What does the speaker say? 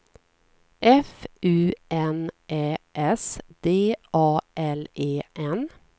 F U N Ä S D A L E N